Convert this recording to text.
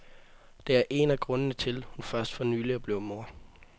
Det er en af grundene til, hun først for nylig er blevet mor.